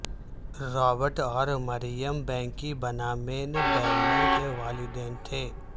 Robert اور مریم بینکی بنامین بیننر کے والدین تھے